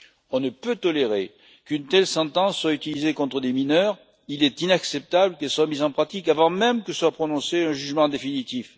On ne peut tolérer qu'une telle sentence soit utilisée contre des mineurs, et il est inacceptable qu'elle soit mise en pratique avant même que soit prononcé un jugement définitif.